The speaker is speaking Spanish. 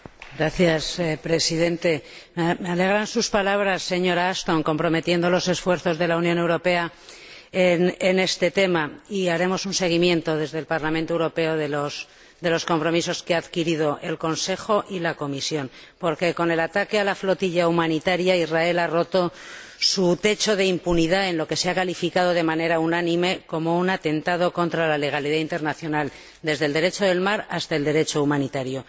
Señor Presidente, me alegran sus palabras, señora Ashton, comprometiendo los esfuerzos de la Unión Europea en este tema y haremos un seguimiento desde el Parlamento Europeo de los compromisos que han adquirido el Consejo y la Comisión, porque, con el ataque a la flotilla humanitaria, Israel ha roto su techo de impunidad en lo que se ha calificado, de manera unánime, como un atentado contra la legalidad internacional, desde el Derecho del mar hasta el Derecho humanitario.